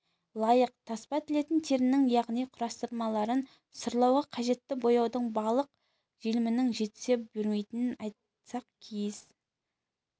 лайық таспа тілетін терінің яғни құрастырмаларын сырлауға қажетті бояудың балық желімінің жетісе бермейтінін айтсақ киіз